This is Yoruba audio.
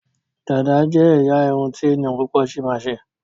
Dàda jé ẹyà Irun ti ènìyàn púpò sí ma ṣe.